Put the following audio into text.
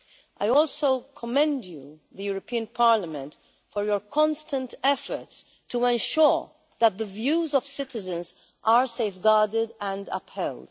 I also commend you, the European Parliament, for your constant efforts to ensure that the views of citizens are safeguarded and upheld.